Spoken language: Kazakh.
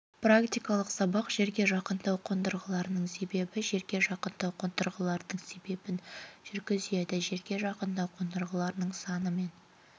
практикалық сабақ жерге жақындау қондырғыларының есебі жерге жақындау қондырғыларының есебін жүргізеді жерге жақындау қондырғыларының саны мен